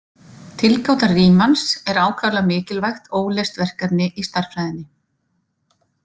Tilgáta Riemanns er ákaflega mikilvægt óleyst verkefni í stærðfræðinni.